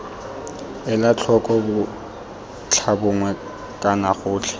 ela tlhoko botlhabongwe kana gotlhe